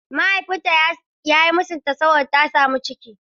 Mahaifinta ya yi musunta ta saboda ta samu ciki.